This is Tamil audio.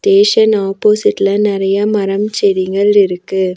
டேஷன் ஆப்போசிட்லெ நறைய மரம் செடிகள் இருக்கு.